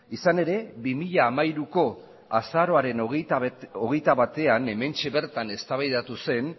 izan ere bi mila hamairuko azaroaren hogeita batean hementxe bertan eztabaidatu zen